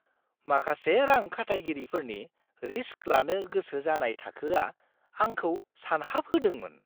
माखासे रां-खाथायगिरिफोरनि रिस्क लानो गोसो जानाय थाखोआ आंखौ सानहाबहोदोंमोन।